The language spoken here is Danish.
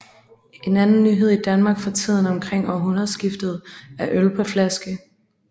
En anden nyhed i Danmark fra tiden omkring århundredeskiftet er øl på flaske